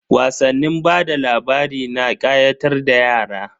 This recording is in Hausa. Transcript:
Wasannin bada labari na kayatar da yara.